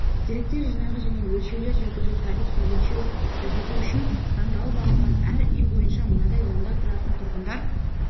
деректер жинағы және өлшеулер жүргізу табиғи өлшеу жүргізу үшін таңдалып алынған әр үй бойынша мынадай онда тұратын тұрғындар